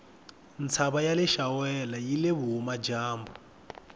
ntava yaleshawela yile vuhhumajambu